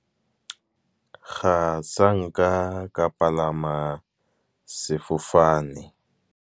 Ga sanka ka palama sefofane.